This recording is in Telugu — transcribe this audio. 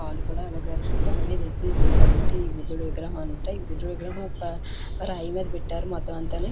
కాలు కూడా అలాగే తొడ మిద వేసోకొని ఉనాడు అనమాట. ఈ బుదుడి విగ్రహం అంతా ఈ బుదుడి విగ్రహం ఒక రాయి మిద పెట్టారు మొత్తం అంతానీ.